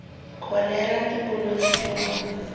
kholera ke bolwetse jo bo